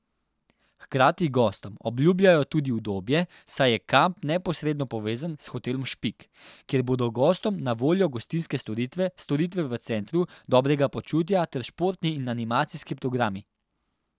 Hkrati gostom obljubljajo tudi udobje, saj je kamp neposredno povezan s hotelom Špik, kjer bodo gostom na voljo gostinske storitve, storitve v centru dobrega počutja ter športni in animacijski programi.